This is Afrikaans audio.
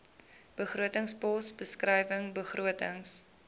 begrotingspos beskrywing begrotings